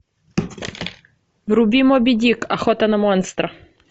вруби моби дик охота на монстра